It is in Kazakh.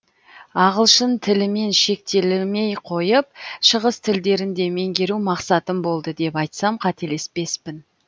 ағылшын тілімен шектелмей қойып шығыс тілдерін де меңгеру мақсатым болды деп айтсам қателеспеспін